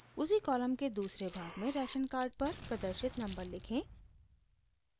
उसी कॉलम के दूसरे भाग में राशन कार्ड पर प्रदर्शित नम्बर लिखें